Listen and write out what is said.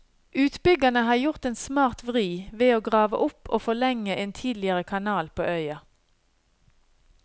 Utbyggerne har gjort en smart vri, ved å grave opp og forlenge en tidligere kanal på øya.